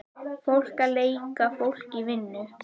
Fólk að leika fólk í vinnu.